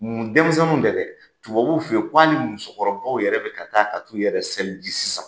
Mun denmisɛninw tɛ dɛ, tubabuw fɛ yen ko hali musokɔrɔbaw yɛrɛ bɛ ka taa ka t'u yɛrɛ seliji sisan.